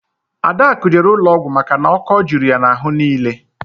Adakụ jere ụlọọgwụ maka na ọ́kọ́ juru ya n'ahụ niile